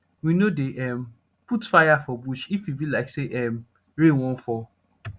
we no dey um put fire for bush if e be like say um rain wan fall